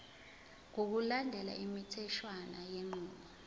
ngokulandela imitheshwana yenqubo